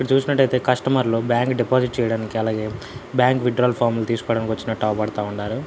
ఇటు చూసినట్టైతే కస్టమర్ లు బ్యాంకు డిఫాజిట్ చేయడానికి అలాగే బ్యాంకు విత్ డ్రా ఫార్మ్ లు తీసుకోడానికి వచ్చినట్టు అవుపడతా ఉండారు.